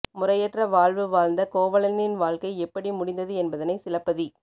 முறையற்ற வாழ்வு வாழ்ந்த கோவலனின் வாழ்க்கை எப்படி முடிந்தது என்பதனை சிலப்பதி